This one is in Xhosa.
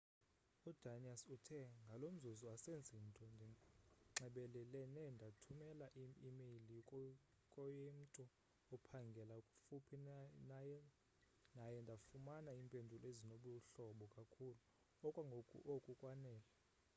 udanius uthe ngalo mzuzu asenzi nto ndinxebelelene ndathumela i-imeyile koyemtu ophangela kufuphi naye ndafumana iimpendulo ezinobuhlobo kakhulu okwangoku oku kwanele